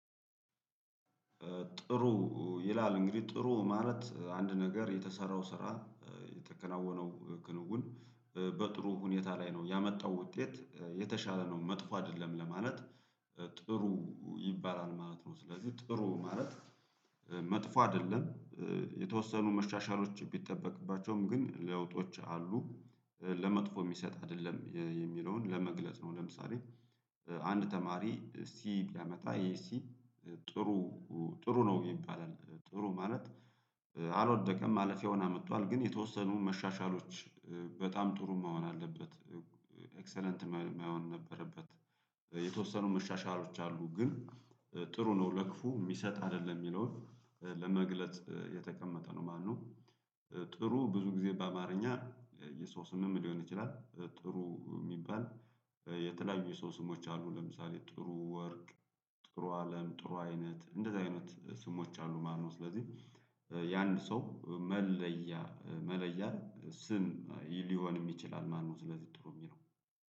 ጥሩ ይላል እንግዲህ ጥሩ ማለት አንድ ነገር የተሰራው ስራ የተከናወነው ክንውን በጥሩ ሁኔታ ላይ ነው ያመጣው ውጤት የተሻለ ነው መጥፎ አይደለም ለማለት ጥሩ ይባላል ማለት ነው። ስለዚህ ጥሩ ማለት መጥፎ አይደለም። የተወሰኑ መሻሻሎች ቢጠበቅባቸውም ግን ለውጦች አሉ ለመጥፎ የሚሰጥ አይደለም የሚለውን ለመግለጽ ነው። ለምሳሌ አንድ ተማሪ ሲ ቢያመታ ይሄ ሲ ጥሩ ጥሩ ነው ይባላል ጥሩ ማለት አልወደቀም ማለፊያውን አመጥቷል። ግን የተወሰኑ መሻሻሎች በጣም ጥሩ መሆን አለበት ኤክሰለንት መሆን ነበረበት። የተወሰኑ መሻሻሎች አሉ ግን ጥሩ ነው ለክፉ የሚሰጥ አይደለም የሚለውን ለመግለጥ የተቀመጠ ነው ማለት ነው። ጥሩ ብዙ ጊዜ በአማርኛ የሰው ስምም ሊሆን ይችላል ጥሩ የሚባል የተለያዩ የሰው ስሞች አሉ ለምሳሌ ጥሩ ወርቅ ጥሩ አለም ጥሩ አይነት እንደዚህ አይነት ስሞች አሉ ማለት ነው። ስለዚህ የአንድ ሰው መለያ መለያ ስም ሊሆንም ይችላል ማለት ነው። ስለዚህ ጥሩ የሚለው